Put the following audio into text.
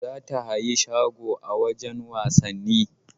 Za ta hayi shago a wajan wasanni